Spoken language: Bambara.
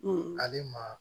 ale ma